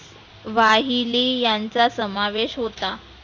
वाहिली यांचा समावेश होता.